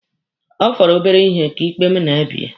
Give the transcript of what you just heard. Ọ fọrọ obere ihe ka ikpe mụ na ya bie.